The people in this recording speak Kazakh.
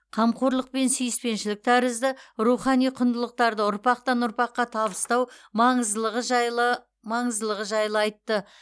қамқорлық пен сүйіспеншілік тәрізді рухани құндылықтарды ұрпақтан ұрпаққа табыстау маңыздылығы жайлы маңыздылығы жайлы айтты